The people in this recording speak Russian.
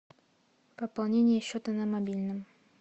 пополнение счета на мобильном